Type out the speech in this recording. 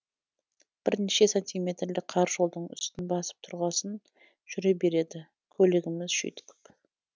бірнеше сантиметрлік қар жолдың үстін басып тұрғасын жүре береді көлігіміз жүйткіп